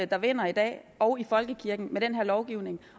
der vinder i dag og i folkekirken med den her lovgivning